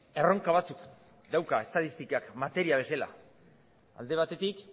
erronka batzuk dauka estatistikak materia bezala alde batetik